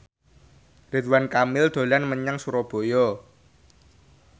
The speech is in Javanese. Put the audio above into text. Ridwan Kamil dolan menyang Surabaya